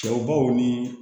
Cɛw baw ni